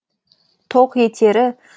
тоқ етері